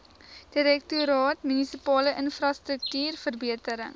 direktoraat munisipale infrastruktuurverbetering